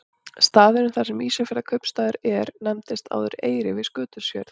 Staðurinn þar sem Ísafjarðarkaupstaður er nefndist áður Eyri við Skutulsfjörð.